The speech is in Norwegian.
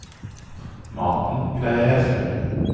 Maten greier jeg selv.